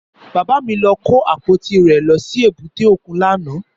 Bàbá mi lọ kó àpótí rẹ̀ lọ sí èbúté òkun lánàá.